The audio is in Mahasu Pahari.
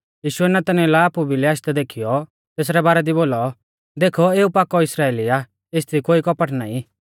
यीशुऐ नतनएल आपु भिलै आशदै देखीयौ तेसरै बारै दी बोलौ देखौ एऊ पाकौ इस्राइली आ एसदी कोई कपट नाईं